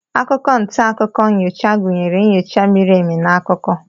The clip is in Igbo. akwụkwọ nta akụkọ nyocha gụnyere nyocha miri emi na akụkọ